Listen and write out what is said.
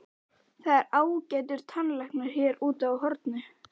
Það er ágætur tannlæknir hér úti á horni.